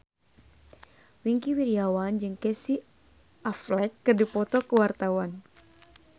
Wingky Wiryawan jeung Casey Affleck keur dipoto ku wartawan